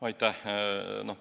Aitäh!